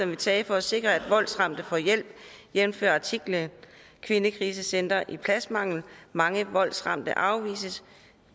vil tage for at sikre at voldsramte får hjælp jævnfør artiklen kvindekrisecentre i pladsmangel mange voldsramte afvises